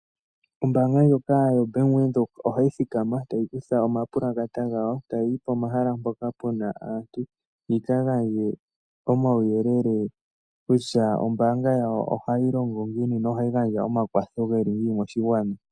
Ombaanga ndjoka yoBank Windhoek ohayi thikama tayi kutha omapulakata gayo tayi yi pomahala mpoka pu na aantu yi ka gandje omauyelele kutya ombaanga yawo ohayi longo ngiini nohayi gandja omakwatho ge li ngiini moshigwana.